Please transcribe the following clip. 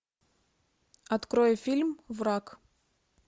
открой фильм враг